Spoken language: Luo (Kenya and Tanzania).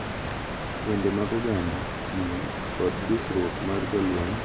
Wende mag oganda, miel, kod dusruok mar jolweny ma nigi lewni mopogore opogore.